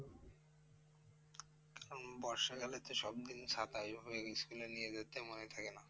বর্ষাকালে তো সবদিন ছাতা ঐভাবে school এ নিয়ে যেতে মনে থাকে না?